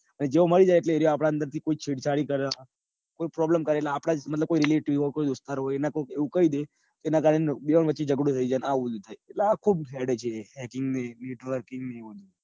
અને જેવું મળી જાય એટલે એવું આપડા અંદરથી છેદ છાણી કર. કોઈ problem કર કોઈ આપણા મતલબ કોઈ relative હોય કોઈ દોસ્તાર હોય એવું કઈ દે એના કારણે બેવો વચે જગડો થઈ જાય ન આવું બધું થાય. એટલે આ ખુબ હેડે છે haking ને networking ને